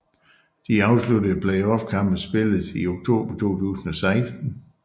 De afsluttende playoffkampe spilles i oktober 2016